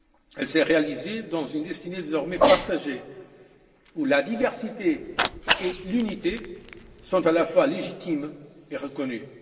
Elle s'est réalisée dans une destinée, désormais partagée, où la diversité et l'unité sont à la fois légitimes et reconnues.